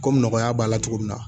Komi nɔgɔya b'a la cogo min na